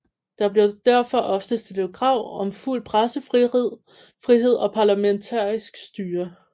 Der blev derfor ofte stillet krav om fuld pressefrihed og parlamentarisk styre